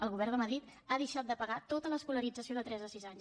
el govern de madrid ha deixat de pagar tota l’escolarització de tres a sis anys